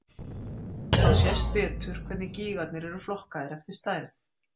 Þá sést betur hvernig gígarnir eru flokkaðir eftir stærð.